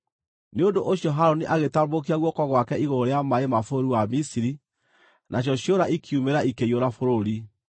Nĩ ũndũ ũcio Harũni agĩtambũrũkia guoko gwake igũrũ rĩa maaĩ ma bũrũri wa Misiri, nacio ciũra ikiumĩra ikĩiyũra bũrũri.